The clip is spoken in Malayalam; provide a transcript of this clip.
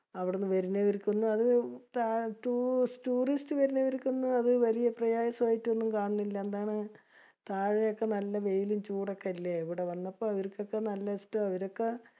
അവിടുന്ന് വരുന്നവർക്കൊന്നും അത് tourist വരുന്നവർക്കൊന്നും അത് വലിയ പ്രയാസായിട്ടൊന്നും കാണണില്ല. എന്താണ് താഴയൊക്കെ നല്ല വെയിലും ചൂടൊക്കെയല്ലേ. ഇവിടെ വന്നപ്പോ അവർക്കൊക്കെ നല്ല ഇഷ്ട. അവരൊക്കെ